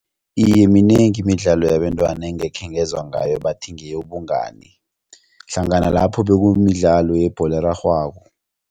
Iye, minengi imidlalo yabentwana engikhengezwa ngayo bathi ngeyobungani hlangana lapho bekumidlalo yebholo erarhwako.